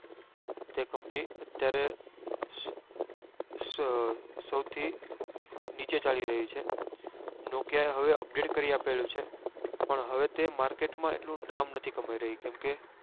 તે company અત્યારે સૌથી નીચે ચાલી રહી છે nokia એ હવે update કરી આપેલ છે પણ હેવે તે market માં એટલું નામ નથી કમાઈ રહી